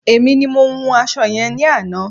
Èmi ni mo wun aṣọ yẹn ní àná.